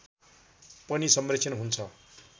पनि संरक्षण हुन्छ